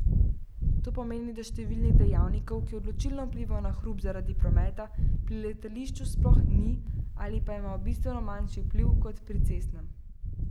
To pomeni, da številnih dejavnikov, ki odločilno vplivajo na hrup zaradi prometa, pri letališču sploh ni ali pa imajo bistveno manjši vpliv kot pri cestnem.